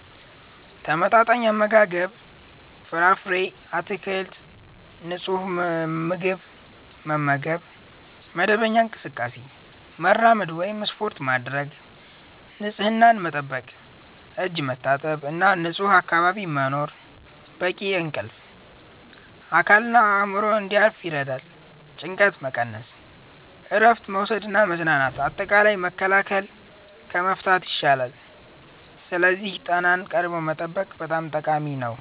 ተመጣጣኝ አመጋገብ – ፍራፍሬ፣ አትክልት እና ንጹህ ምግብ መመገብ። መደበኛ እንቅስቃሴ – መራመድ ወይም ስፖርት ማድረግ። ንፁህነት መጠበቅ – እጅ መታጠብ እና ንጹህ አካባቢ መኖር። በቂ እንቅልፍ – አካልና አእምሮ እንዲያርፍ ይረዳል። ጭንቀት መቀነስ – እረፍት መውሰድ እና መዝናናት። አጠቃላይ፣ መከላከል ከመፍታት ይሻላል፤ ስለዚህ ጤናን ቀድሞ መጠበቅ በጣም ጠቃሚ ነው።